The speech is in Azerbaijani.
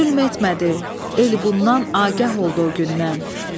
Zülm etmədi, el bundan agah oldu o gündən.